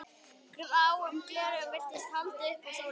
Gráum gleraugum virtist haldið upp að sólinni.